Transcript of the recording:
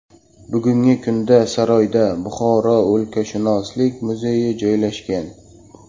Bugungi kunda saroyda Buxoro o‘lkashunoslik muzeyi joylashgan.